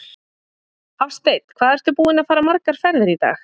Hafsteinn: Hvað ertu búinn að fara margar ferðir í dag?